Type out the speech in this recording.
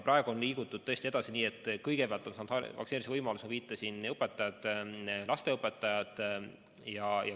Praegu on liigutud edasi nii, et kõigepealt on saanud vaktsineerimise võimaluse, nagu viitasin, kooliõpetajad ja lasteaiaõpetajad.